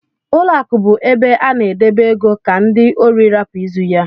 Ụlọ akụ bú ebe a na edebe ego ka ndị órí rapu ịzụ ya.